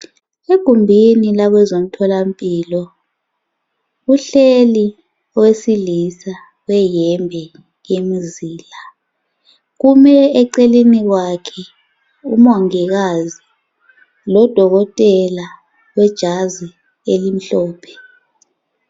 Egumbini labezomtholampilo kuhleli owesilisa weyembe elemizila , kume eceleni kwakhe umongikazi lodokotela wejazi elimhlophe